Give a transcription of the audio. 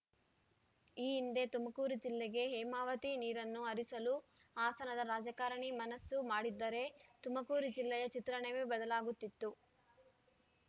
ಈ ಹಿಂದೆ ತುಮಕೂರು ಜಿಲ್ಲೆಗೆ ಹೇಮಾವತಿ ನೀರನ್ನು ಹರಿಸಲು ಹಾಸನದ ರಾಜಕಾರಣಿ ಮನಸ್ಸು ಮಾಡಿದ್ದರೆ ತುಮಕೂರು ಜಿಲ್ಲೆಯ ಚಿತ್ರಣವೇ ಬದಲಾಗುತ್ತಿತ್ತು